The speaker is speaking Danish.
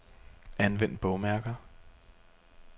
Anvend bogmærker.